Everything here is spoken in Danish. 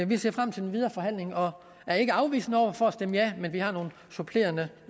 vi ser frem til den videre forhandling og er ikke afvisende over for at stemme ja men vi har nogle supplerende